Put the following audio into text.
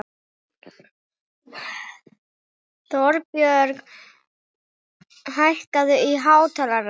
Þorbjörg, hækkaðu í hátalaranum.